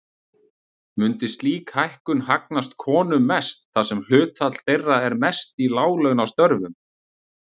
Mundi slík hækkun hagnast konum mest þar sem hlutfall þeirra er mest í láglaunastörfum.